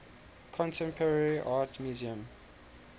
contemporary art museum